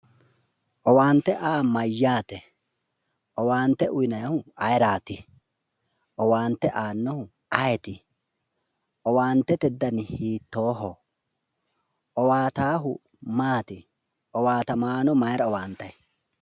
Owaante aa yaa mayyaate? owaate uynannihu ayeerati? owaante aannohu ayeeti? owaante dani hiittoho? owaatahu maati? Owaatamanno mayra owaantay?